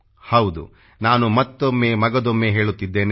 ಹೌದು ನಾನು ಮತ್ತೊಮ್ಮೆ ಮಗದೊಮ್ಮೆ ಹೇಳುತ್ತಿದ್ದೇನೆ